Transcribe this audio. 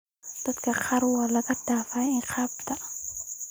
Dadka qaar waa laga dhaafay ciqaabta.